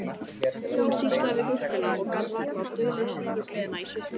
Hún sýslaði við gúrkuna og gat varla dulið sigurgleðina í svipnum